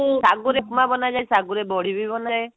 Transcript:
ସାଗୁ ରେ ଉପମା ବନାଯାଏ ସଗୁରେ ବଢି ବି ବନାଯାଏ